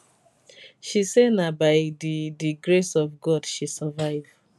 she say na by di di grace of god she survive